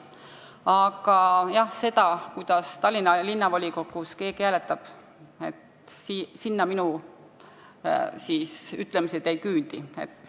Aga selleni, kuidas Tallinna Linnavolikogus keegi hääletab, minu teadmised ei küündi.